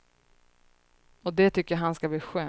Och det tycker han ska bli skönt.